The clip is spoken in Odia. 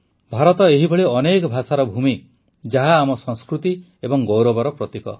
ଭାରତ ଏହିଭଳି ଅନେକ ଭାଷାର ଭୂମି ଯାହା ଆମ ସଂସ୍କୃତି ଏବଂ ଗୌରବର ପ୍ରତୀକ